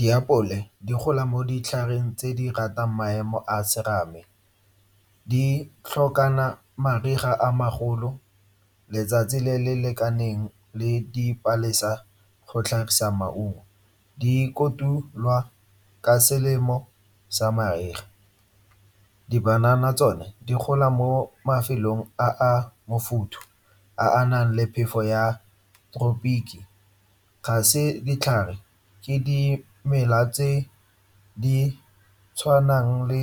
Diapole di gola mo ditlhareng tse di ratang maemo a a serame. Di tlhokana le mariga a a magolo, letsatsi le le lekaneng le dipalesa go tlhagisa maungo. Di kotulwa ka selemo sa mariga. Di-banana tsone di gola mo mafelong a a mofuthu a a nang le phefo ya . Ga se ditlhare, ke dimela tse di tshwanang le